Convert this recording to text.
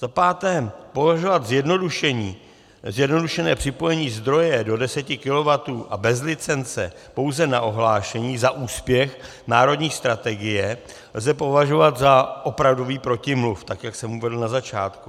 Za páté, považovat zjednodušené připojení zdroje do 10 kW a bez licence pouze na ohlášení za úspěch národní strategie lze považovat za opravdový protimluv, tak jak jsem uvedl na začátku.